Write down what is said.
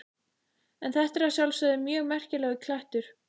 En þetta er að sjálfsögðu mjög merkilegur klettur.